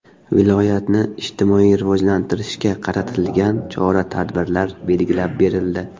Viloyatni ijtimoiy rivojlantirishga qaratilgan chora-tadbirlar belgilab berildi.